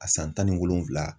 A san tan ni wolonwula.